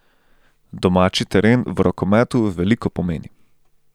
Domači teren v rokometu veliko pomeni.